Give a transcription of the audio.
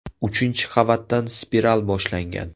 Uchinchi qavatdan spiral boshlangan.